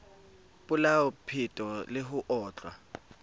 polao peto le ho otlwa